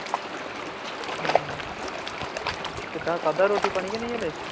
ਕਿੱਦਾਂ, ਖਾਦਾ ਰੋਟੀ-ਪਾਣੀ ਕੇ ਨਹੀਂ ਹਾਲੇ